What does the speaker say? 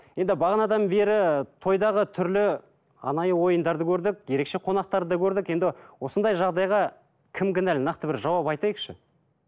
енді бағанадан бері тойдағы түрлі анайы ойындарды көрдік ерекше қонақтарды да көрдік енді осындай жағдайға кім кінәлі нақты бір жауап айтайықшы